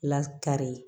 Lakari